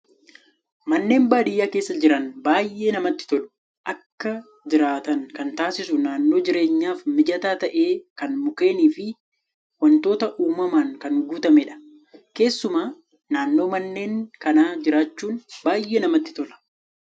Manneen baadiyyaa keessaa jireenya baay'ee namatti tolu. Akka jiraatan kan taasisu naannoo jireenyaaf mijataa ta'ee kan mukkeenii fi wantoota uumamaan kan guutamedha. Keessumaa naannoo manneen kanaa jiraachuun baay'ee namatti tola.